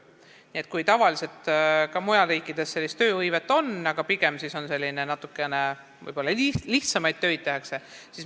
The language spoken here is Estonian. Sellist tööhõivet on tavaliselt ka mujal riikides, aga pigem tehakse seal lihtsamaid töid.